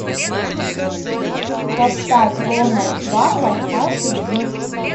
поставь ронал варвар аш ди